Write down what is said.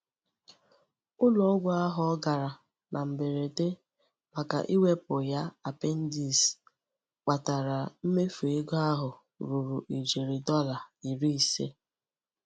Ụlọ-ọgwụ ahụ ọ gara na mberede màkà iwepụ ya apendis kpatara mmefu ego ahụike ruru ijeri Dọla iri ise.